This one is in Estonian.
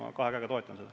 Ma kahe käega toetan seda.